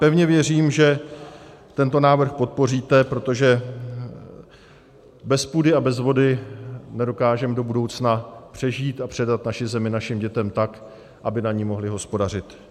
Pevně věřím, že tento návrh podpoříte, protože bez půdy a bez vody nedokážeme do budoucna přežít a předat naši zemi našim dětem tak, aby na ní mohly hospodařit.